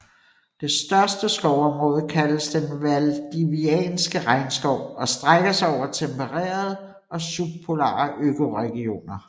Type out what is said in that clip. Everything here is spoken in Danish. Det største skovområde kaldes den Valdivianske regnskov og strækker sig over tempererede og subpolare økoregioner